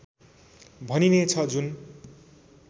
भनिने छ जुन